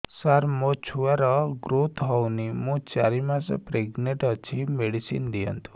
ସାର ମୋର ଛୁଆ ର ଗ୍ରୋଥ ହଉନି ମୁ ଚାରି ମାସ ପ୍ରେଗନାଂଟ ଅଛି ମେଡିସିନ ଦିଅନ୍ତୁ